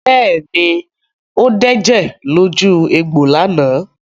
Bẹ́ẹ̀ ni, ó dẹ̀jẹ̀ lójú egbò lánàá.